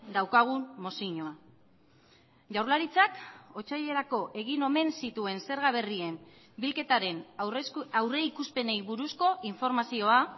daukagun mozioa jaurlaritzak otsailerako egin omen zituen zerga berrien bilketaren aurrikuspenei buruzko informazioa